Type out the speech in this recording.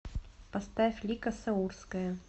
поставь лика саурская